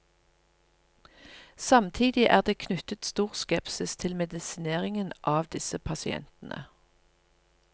Samtidig er det knyttet stor skepsis til medisineringen av disse pasientene.